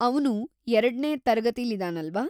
ಅವ್ನು ಎರಡ್ನೇ ತರಗತಿಲಿದಾನಲ್ವಾ?